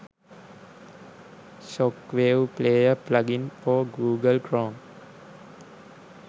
shockwave player plugin for google chrome